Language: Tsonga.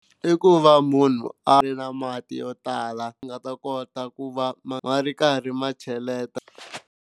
I ku va munhu a ri na mati yo tala a ta kota ku va ma ri karhi ma cheleta.